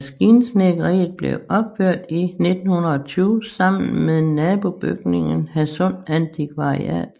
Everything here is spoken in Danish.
Maskinsnedkeriet blev opført i 1920 sammen med nabobygningen Hadsund Antikvariat